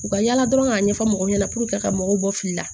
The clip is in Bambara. U ka yala dɔrɔn k'a ɲɛfɔ mɔgɔw ɲɛna ka mɔgɔw bɔ fili la